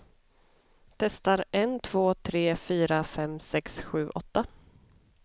Testar en två tre fyra fem sex sju åtta.